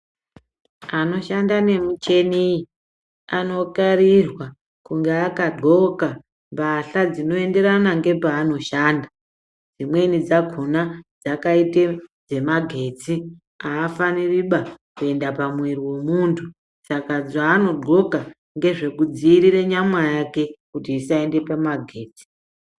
Anoshanda nemichini ,anokarirwa kunge akadxoka mbahla dzinoenderana nepaanoshanda. Dzimweni dzakona dzakaite dzemagetsi. Aafaniri kuenda pamuiri wemuntu ,saka zvaanodxoka ndezvekudziirira nyama yake kuti isaende pamagetsi.